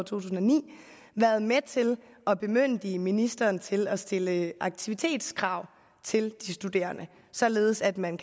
tusind og ni været med til at bemyndige ministeren til at stille aktivitetskrav til de studerende således at man